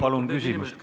Palun küsimust!